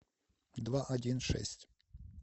два один шесть